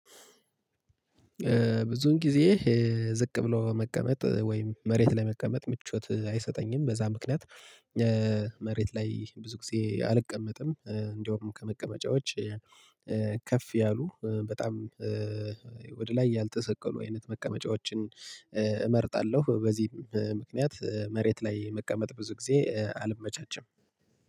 ብዙን ጊዜ ዝቅ ብሎ መቀመጥ ወይም መሬት ላይ መቀመጥ ምቾት አይሰጠኝም በዛ ምክንያት። መሬት ላይ ብዙ ጊዜ አልቀመጥም እንደውም ከመቀመጫዎች። ከፍ ያሉ በጣም ወደ ላይ ያልተሰቀሉ አይነት መቀመጫዎችን እመርጣለሁ። በዚህም ምክንያት መሬት ላይ መቀመጥ ብዙ ጊዜ አልመቻቸም።